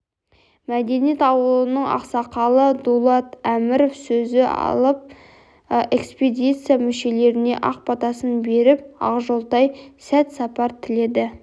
мәдениет ауылының ақсақалы дулат әміров сөзі алып экспедиция мүшлеріне ақ батасын беріп ақжолтай сәт-сапар тіледі